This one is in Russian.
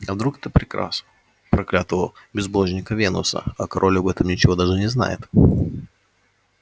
а вдруг это приказ проклятого безбожника венуса а король об этом ничего даже не знает